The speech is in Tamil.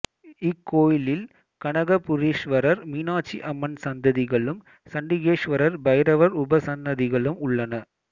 இக்கோயிலில் கனகபுரீஸ்வரர் மீனாட்சி அம்மன் சன்னதிகளும் சண்டிகேஸ்வரர் பைரவர் உபசன்னதிகளும் உள்ளன